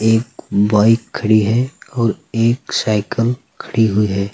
एक बाइक खड़ी है और एक साइकिल खड़ी हुई है।